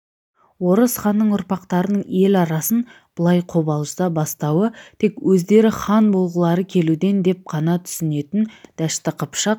орыс ханның ұрпақтарының ел арасын былай қобалжыта бастауы тек өздері хан болғылары келуден деп қана түсінетін дәшті қыпшақ